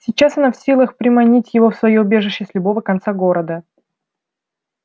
сейчас она в силах приманить его в своё убежище с любого конца города